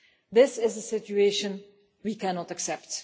This is a situation we cannot accept